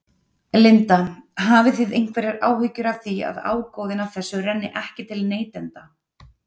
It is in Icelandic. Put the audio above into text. Linda: Hafið þið einhverjar áhyggjur af því að ágóðinn af þessu renni ekki til neytenda?